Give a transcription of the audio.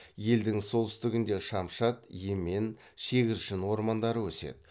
елдің солтүстігінде шамшат емен шегіршін ормандары өседі